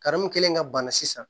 mun kɛlen ka bana sisan